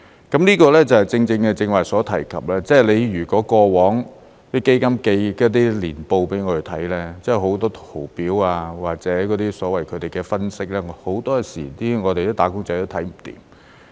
這個正正是剛才所提及，過往那些基金寄給我們看的年報有很多圖表或者所謂他們的分析，很多時候"打工仔"都看不明白。